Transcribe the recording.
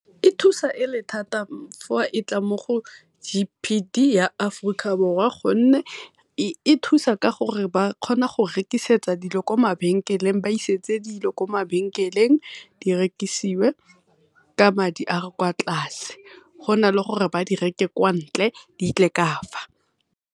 E thusa e le thata fa e tla mo go G_P_D ya Aforika Borwa ka gonne e thusa ka gore ba kgona go rekisetsa dilo ko mabenkeleng, ba isetse dilo ko mabenkeleng di rekisiwe ka madi a a kwa tlase go na le gore ba di reke kwa ntle ditle kafa.